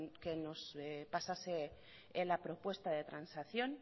que nos pasase la propuesta de transacción